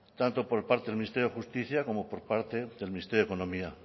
tanto por parte del ministerio de justicia como por parte del ministerio de economía